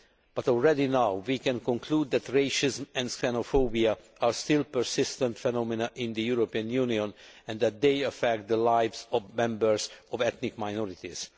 But already now we can conclude that racism and xenophobia are still persistent phenomena in the European Union and that they affect the lives of members of ethnic minorities.